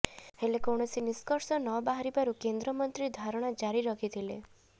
ହେଲେ କୌଣସି ନିଷ୍କର୍ସ ନବାହାରିବାରୁ କେନ୍ଦ୍ରମନ୍ତ୍ରୀ ଧାରଣା ଜାରି ରଖିଥିଲେ